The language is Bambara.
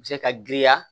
Bi se ka giriya